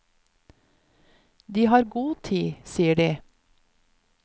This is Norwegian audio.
De har god tid, sier de.